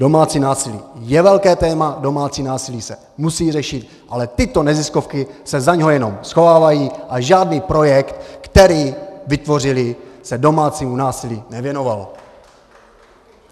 Domácí násilí je velké téma, domácí násilí se musí řešit, ale tyto neziskovky se za něj jenom schovávají a žádný projekt, který vytvořily, se domácímu násilí nevěnoval.